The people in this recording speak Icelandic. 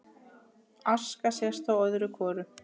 Aska sést þó öðru hvoru